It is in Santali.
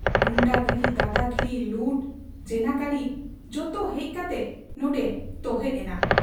ᱜᱩᱱᱰᱟᱜᱤᱨᱤ, ᱫᱟᱫᱟᱜᱤᱨᱤ, ᱞᱩᱴ, ᱡᱮᱱᱟᱠᱟᱨᱤ ᱡᱚᱛᱚ ᱦᱮᱡ ᱠᱟᱛᱮ ᱱᱚᱱᱰᱮ ᱛᱚᱦᱮᱫ ᱮᱱᱟ ᱾